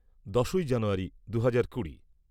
দশই জানুয়ারি দু'হাজার কুড়ি